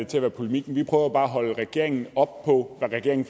til at være polemik men vi prøver bare at holde regeringen op på hvad regeringen